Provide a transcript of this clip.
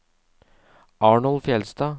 Arnold Fjeldstad